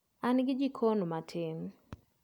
An gi jikon matin